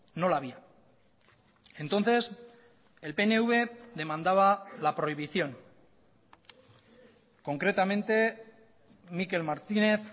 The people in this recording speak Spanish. no la había entonces el pnv demandaba la prohibición concretamente mikel martínez